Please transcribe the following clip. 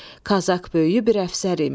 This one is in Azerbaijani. Qazak böyüyü bir əfsər imiş.